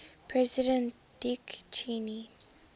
president dick cheney